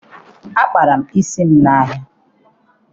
Akpara m isi m n'ahia.